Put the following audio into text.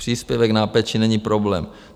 Příspěvek na péči není problém.